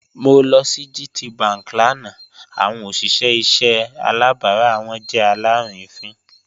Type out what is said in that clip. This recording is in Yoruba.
Mo lọ sí GTBank lánà awọn ọṣìṣẹ̀ ìṣẹ̀ àlàbárà wọn jẹ́ alárìínińfín.